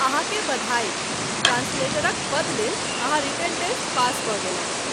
अहाँ के बधाई! ट्रान्सलेटरक पद लेल अहाँ रिटेन टेस्ट पास कऽ गेलहुँ।